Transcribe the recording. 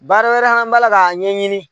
Baara wɛrɛ an b'a k'a ɲɛɲini,